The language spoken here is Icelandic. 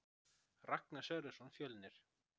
Ragnar Sverrisson Fjölnir